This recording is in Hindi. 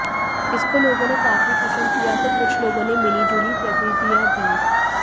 इसको लोगों ने काफी पसंद किया तो कुछ लोगों ने मिली जुली प्रतिक्रिया दी थी